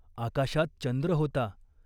आकाशात चंद्र होता.